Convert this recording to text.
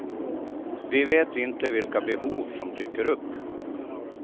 Vi vet inte vilka behov som dyker upp.